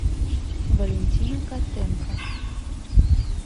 валентина котенко